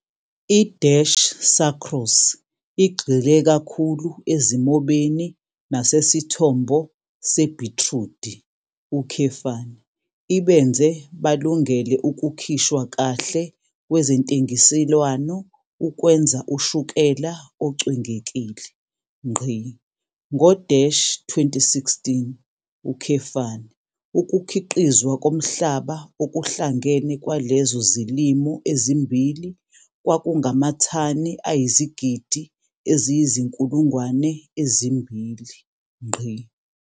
I-Sucrose igxile kakhulu ezimobeni nasesithombo sebhitrudi, ibenze balungele ukukhishwa kahle kwezentengiselwano ukwenza ushukela ocwengekile. Ngo-2016, ukukhiqizwa komhlaba okuhlangene kwalezo zilimo ezimbili kwakungamathani ayizigidi eziyizinkulungwane ezimbili.